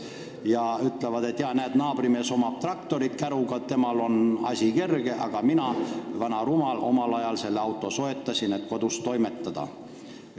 Nad ütlevad: "Näed, naabrimehel on käruga traktor, temal on kerge, aga mina, vana rumal, omal ajal soetasin selle auto, et kodus toimetada.